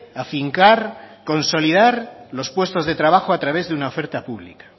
afincar consolidar los puestos de trabajo a través de una oferta pública